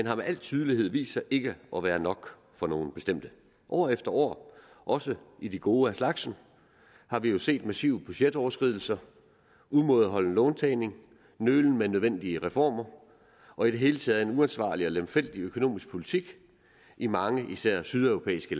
har med al tydelighed vist sig ikke at være nok for nogle bestemte år efter år også i de gode af slagsen har vi jo set massive budgetoverskridelser umådeholden låntagning nølen med nødvendige reformer og i det hele taget en uansvarlig og lemfældig økonomisk politik i mange lande især sydeuropæiske